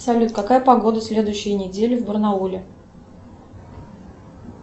салют какая погода на следующей неделе в барнауле